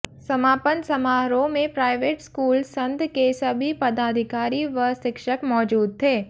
समापन समारोह में प्राइवेट स्कूल संध के सभी पदाधिकारी व शिक्षक मौजूद थे